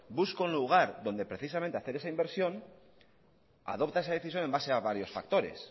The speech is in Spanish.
busca un lugar donde precisamente hacer esa inversión adopta esa decisión en base a varios factores